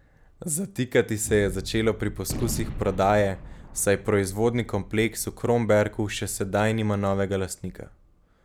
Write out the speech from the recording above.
Zatikati se je začelo pri poskusih prodaje, saj proizvodni kompleks v Kromberku še sedaj nima novega lastnika.